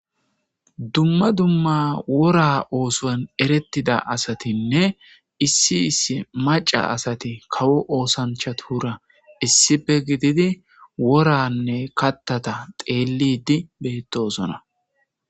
Dumma dumma wora oosoan erettida asatinne issi issi maca asati kawo oosancha tuhura issife gididi woranne kattata xeellidi beettosona.